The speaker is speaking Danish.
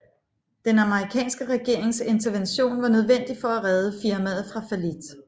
Den amerikanske regerings intervention var nødvendig for at redde firmaet fra fallit